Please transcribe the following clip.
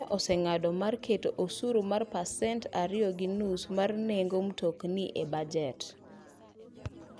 Kenya oseng'ado mar keto osuru mar pasent ariyo gi nus mar nengo mtokni e bajet.